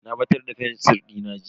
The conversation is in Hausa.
Na batar da fensir dina jiya.